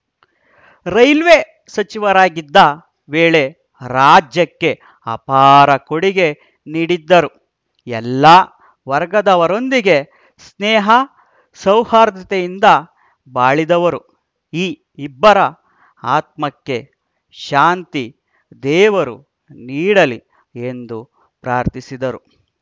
railway ಸಚಿವರಾಗಿದ್ದ ವೇಳೆ ರಾಜ್ಯಕ್ಕೆ ಅಪಾರ ಕೊಡುಗೆ ನೀಡಿದ್ದರು ಎಲ್ಲ ವರ್ಗದವರೊಂದಿಗೆ ಸ್ನೇಹ ಸೌಹಾರ್ದತೆಯಿಂದ ಬಾಳಿದವರು ಈ ಇಬ್ಬರ ಆತ್ಮಕ್ಕೆ ಶಾಂತಿ ದೇವರು ನೀಡಲಿ ಎಂದು ಪ್ರಾರ್ಥಿಸಿದರು